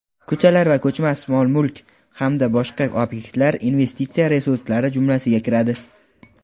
ko‘char va ko‘chmas mol-mulk hamda boshqa obyektlar investitsiya resurslari jumlasiga kiradi.